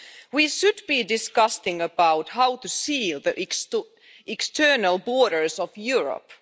We should be discussing about how to seal the external borders of Europe.